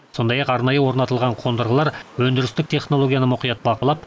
сондай ақ арнайы орнатылған қондырғылар өндірістік технологияны мұқият бақылап